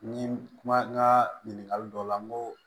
Ni kuma n ka ɲininkali dɔw la n ko